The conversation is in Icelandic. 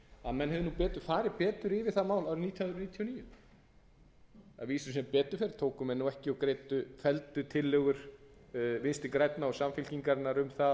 að menn hefðu farið betur yfir það mál árið nítján hundruð níutíu og níu að vísu sem betur fer tóku menn ekki og felldu tillögur vinstri grænna og samfylkingarinnar um